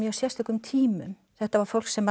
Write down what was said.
sérstökum tímum þetta var fólk sem